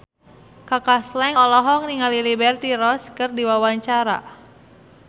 Kaka Slank olohok ningali Liberty Ross keur diwawancara